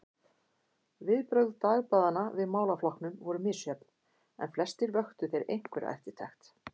Viðbrögð dagblaðanna við málaflokkunum voru misjöfn, en flestir vöktu þeir einhverja eftirtekt.